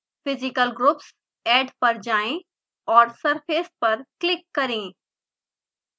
physical groups >> add पर जाएँ और surface पर क्लिक करें